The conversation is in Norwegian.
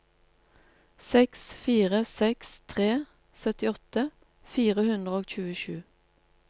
seks fire seks tre syttiåtte fire hundre og tjuesju